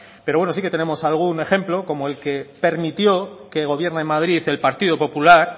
pero sí que tenemos algún ejemplo como el que permitió que el gobierno de madrid el partido popular